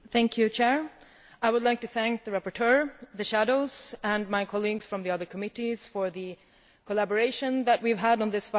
Madam President, I would like to thank the rapporteurs, the shadows and my colleagues from the other committees for the collaboration that we have had on this file.